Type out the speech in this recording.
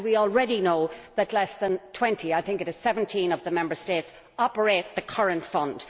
We already know that fewer than 20 I think it is 17 of the Member States operate the current fund.